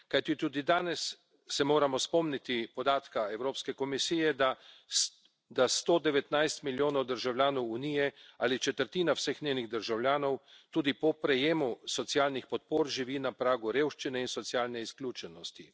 Kajti tudi danes se moramo spomniti podatka Evropske komisije, da 119 milijonov državljanov Unije ali četrtina vseh njenih državljanov tudi po prejemu socialnih podpor živi na pragu revščine in socialne izključenosti.